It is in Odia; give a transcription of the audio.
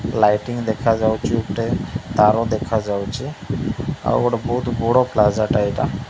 ଲାଇଟିଙ୍ଗ ଦେଖା ଯାଉଛି ଉପରେ ତାର ଦେଖା ଯାଉଛି ଆଉ ଗୋଟେ ବହୁତ୍ ବଡ଼ ପ୍ଲାଜା ଟା ଏଇଟା।